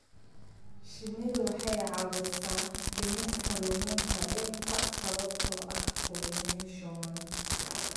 Shinnidu waxay caawisaa dhimista luminta dhirta sababtoo ah pollination.